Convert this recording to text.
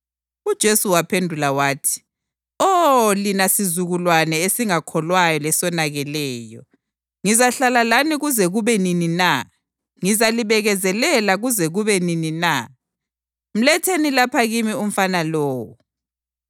UJesu waphendula wathi, “Oh, lina sizukulwane esingakholwayo lesonakeleyo. Ngizahlala lani kuze kube nini na? Ngizalibekezelela kuze kube nini na? Mletheni lapha kimi umfana lowo.”